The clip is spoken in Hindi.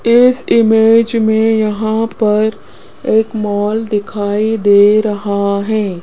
इस इमेज में यहां पर एक मॉल दिखाई दे रहा है।